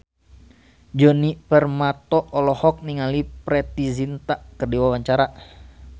Djoni Permato olohok ningali Preity Zinta keur diwawancara